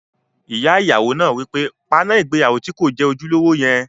Ìyá ìyàwó náà wí pé, "paná ìgbéyàwó tí kò jẹ́ ojúlówó yẹn!"